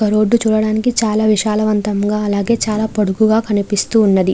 Road చూడడానికి చాల విశాల వంతంగా అలాగే చాల పొడవుగా కనిపిస్తున్నది.